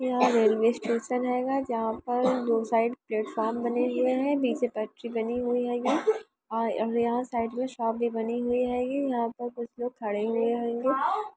यहाँ railway station रहेगा जहाँ पर दो साइड प्लेटफार्म बने हुए हैनीचे फैक्ट्री बनी हुई रहेगी और यहाँ शॉप भी बनी रहेगी यहाँ पे कुछ लोग खड़े हुए होंगे।